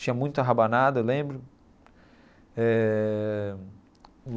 Tinha muita rabanada, eu lembro eh.